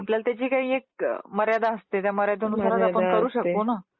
आपल्याला त्याची काही एक मर्यादा असते. त्या मर्यादेमध्ये आपण करू शकतो ना ?